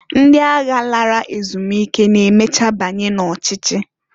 Ndi agha lara ezumike na-emecha banye n'ochichi.